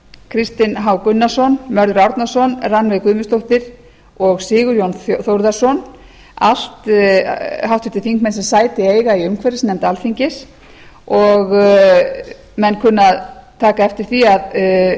kristinn h gunnarsson mörður árnason rannveig guðmundsdóttir og sigurjón þórðarson allt háttvirtir þingmenn sem sæti eiga í umhverfisnefnd alþingis menn kunna að taka eftir því að